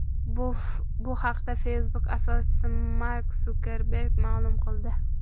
Bu haqda Facebook asoschisi Mark Sukerberg ma’lum qildi .